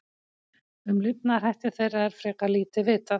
Um lifnaðarhætti þeirra er frekar lítið vitað.